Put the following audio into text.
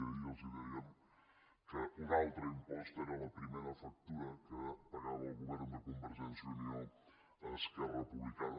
ahir els dèiem que un altre impost era la primera factura que pagava el govern de convergència i unió a esquerra republicana